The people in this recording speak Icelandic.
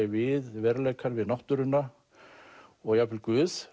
við veruleikann við náttúruna og jafnvel guð